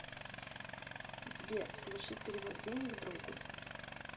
сбер совершить перевод денег другу